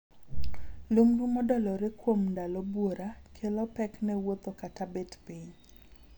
Lumbru modolore kuom ndalo buora kelo pek ne wuotho kata bet piny.